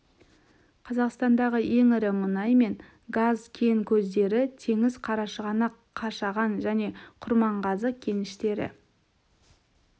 қазақстандағы ең ірі мұнай мен газ кен көздері теңіз қарашығанақ қашаған және құрманғазы кеніштері